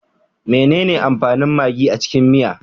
Menene amfanin magi a cikin miya?